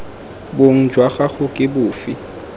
bong jwa gago ke bofe